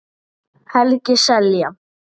Helgi Seljan